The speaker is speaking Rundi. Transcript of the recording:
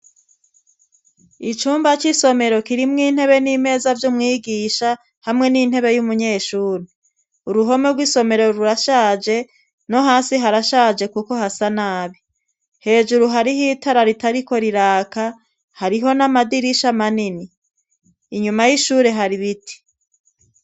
Icumba c'isomero kirimwo intebe n'imeza vy'umwigisha, hamwe n'intebe y'umunyeshuri. Uruhome rw'isomero rurashaje, no hasi harashaje kuko hasa nabi. Hejuru hariho itara ritariko riraka hariho n'amadirisha manini. Inyuma y'ishuri hari biti.